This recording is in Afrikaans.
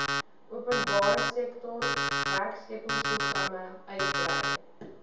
openbaresektor werkskeppingsprogramme uitbrei